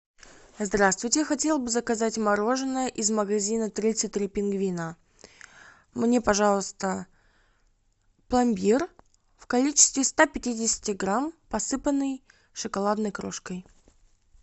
здравствуйте хотела бы заказать мороженое из магазина тридцать три пингвина мне пожалуйста пломбир в количестве ста пятидесяти грамм посыпанный шоколадной крошкой